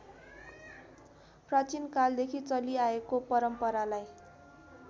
प्राचीनकालदेखि चलिआएको परम्परालाई